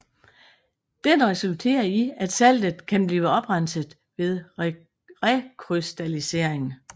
Den resulterer i at saltet kan blive oprenset ved rekrystallisering